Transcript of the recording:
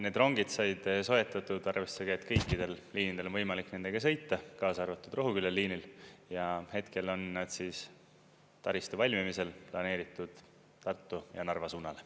Need rongid said soetatud arvestusega, et kõikidel liinidel on võimalik nendega sõita, kaasa arvatud Rohuküla liinil, ja hetkel on taristu valmimisel planeeritud Tartu ja Narva suunal.